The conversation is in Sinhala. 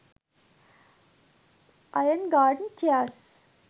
iron garden chairs